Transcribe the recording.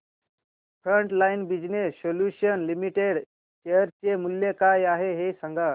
frontline business solutions limited share चे मूल्य काय आहे हे सांगा